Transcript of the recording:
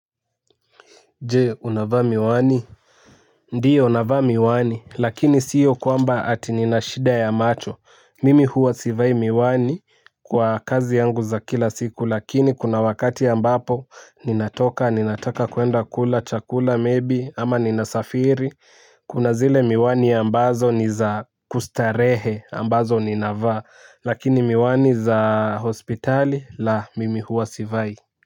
Je, unavaa miwani? Ndiyo navaa miwani, lakini sio kwamba ati nina shida ya macho. Mimi huwa sivai miwani kwa kazi yangu za kila siku, lakini kuna wakati ambapo ninatoka, ninataka kuenda kula, chakula, maybe, ama ninasafiri. Kuna zile miwani ambazo ni za kustarehe, ambazo ninavaa, lakini miwani za hospitali, la, mimi huwa sivai.